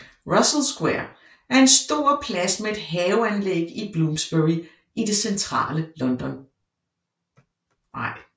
Russell Square er en stor plads med et haveanlæg i Bloomsbury i det centrale London